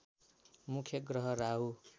मुख्य ग्रह राहु